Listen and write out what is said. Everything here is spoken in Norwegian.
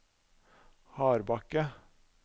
Hardbakke